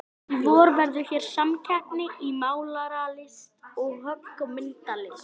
Í vor verður hér samkeppni í málaralist og höggmyndalist.